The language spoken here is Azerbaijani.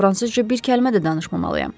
Fransızca bir kəlmə də danışmamalıyam.